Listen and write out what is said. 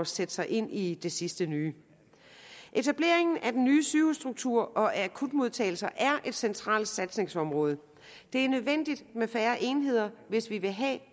sætte sig ind i det sidste nye etableringen af den nye sygehusstruktur og af akutmodtagelser er et centralt satsningsområde det er nødvendigt med færre enheder hvis vi vil have